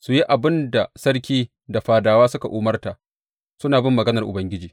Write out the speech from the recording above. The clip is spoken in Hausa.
su yi abin da sarki da fadawansa suka umarta, suna bin maganar Ubangiji.